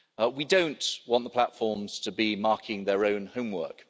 We don't want the platforms to be marking their own homework.